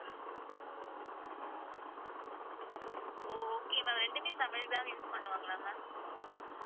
ஓ okay ma'am ரெண்டுமே சமையலுக்கு தான் use பண்ணுவாங்களா ma'am